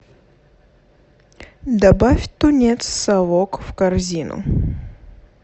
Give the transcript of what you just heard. добавь тунец совок в корзину